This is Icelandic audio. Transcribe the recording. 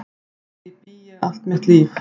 Að því bý ég allt mitt líf.